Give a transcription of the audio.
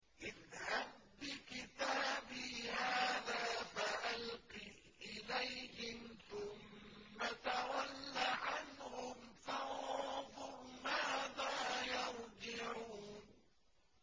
اذْهَب بِّكِتَابِي هَٰذَا فَأَلْقِهْ إِلَيْهِمْ ثُمَّ تَوَلَّ عَنْهُمْ فَانظُرْ مَاذَا يَرْجِعُونَ